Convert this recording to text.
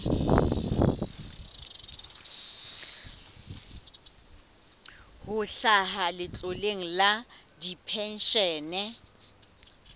ho hlaha letloleng la dipenshene